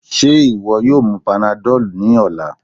Ṣe iwọ yoo mu panadol ni ọla?